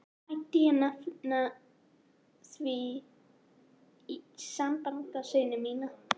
Mætti ég nefna í því sambandi syni mína.